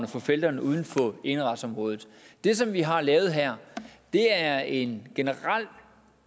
for felterne uden for eneretsområdet det som vi har lavet her er en generel